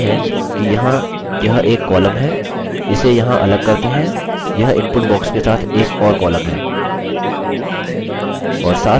आप देख सकते हैं कि यहाँ यह एक कॉलम है इसे यहाँ अलग करते हैं यह इनपुट बॉक्स के साथ एक और कॉलम है